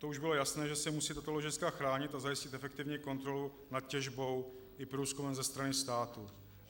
To už bylo jasné, že se musí tato ložiska chránit a zajistit efektivní kontrolu nad těžbou i průzkumem ze strany státu.